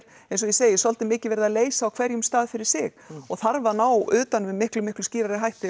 eins og ég segi svolítið mikið verið að leysa á hverjum stað fyrir sig og þarf að ná utan um með miklu miklu skýrari hætti